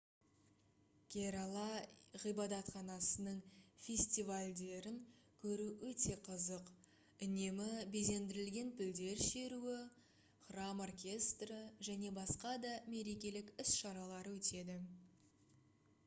керала ғибадатханасының фестивальдерін көру өте қызық үнемі безендірілген пілдер шеруі храм оркестрі және басқа да мерекелік іс-шаралар өтеді